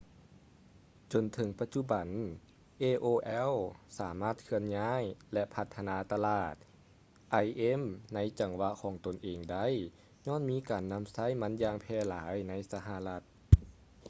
ຈົນເຖິງປະຈຸບັນ aol ສາມາດເຄື່ອນຍ້າຍ ແລະ ພັດທະນາຕະຫຼາດ im ໃນຈັງຫວະຂອງຕົນເອງໄດ້ ຍ້ອນມີການນຳໃຊ້ມັນຢ່າງແຜ່ຫຼາຍໃນສະຫະລັດ